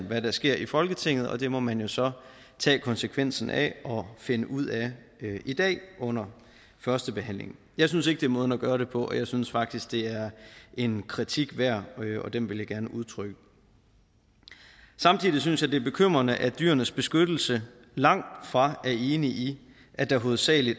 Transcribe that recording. hvad der sker i folketinget og det må man jo så tage konsekvensen af og finde ud af i dag under førstebehandlingen jeg synes ikke det er måden at gøre det på og jeg synes faktisk det er en kritik værd og den vil jeg gerne udtrykke samtidig synes jeg det er bekymrende at dyrenes beskyttelse langtfra er enig i at der hovedsagelig